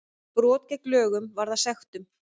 Brot gegn lögunum varða sektum